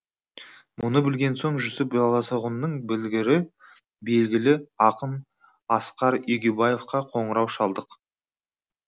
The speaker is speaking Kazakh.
мұны білген соң жүсіп баласағұнның білгірі белгілі ақын асқар егеубаевқа қоңырау шалдық